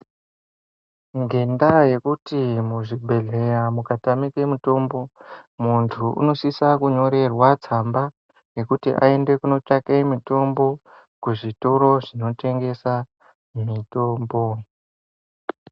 Ngenda yekuti muzvibhedhlera mukatamike mutombo muntu unosisa kunyorerwa tsamba yekuti aende kunotsvake mitombo kuzvitoro zvinotengesa mitombo.